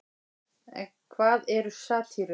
en hvað eru satírur